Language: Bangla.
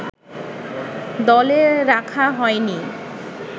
দলে রাখা হয়নি